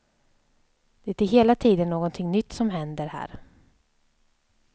Det är hela tiden någonting nytt som händer här.